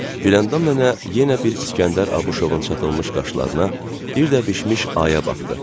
Güləndam nənə yenə bir İsgəndər Abışovun çatılmış qaşlarına, bir də bişmiş aya baxdı.